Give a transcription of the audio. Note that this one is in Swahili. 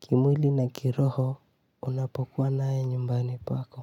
Kimwili na kiroho unapokuwa naye nyumbani pako.